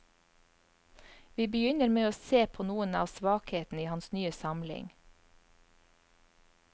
Vi begynner med å se på noen av svakhetene i hans nye samling.